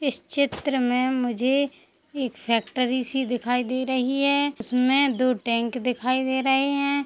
इस चित्र में मुझे एक फैक्ट्री सी दिखाई दे रही है उसमें दो टैंक दिखाई दे रहे है ।